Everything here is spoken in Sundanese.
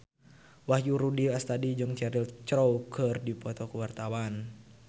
Wahyu Rudi Astadi jeung Cheryl Crow keur dipoto ku wartawan